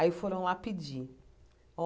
Aí foram lá pedir.